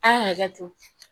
A ka hakɛ to